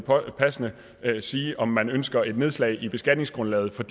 passende sige om man ønsker et nedslag i beskatningsgrundlaget for